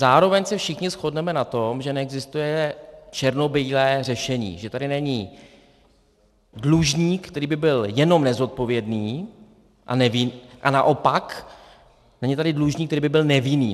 Zároveň se všichni shodneme na tom, že neexistuje černobílé řešení, že tady není dlužník, který by byl jenom nezodpovědný, a naopak není tady dlužník, který by byl nevinný.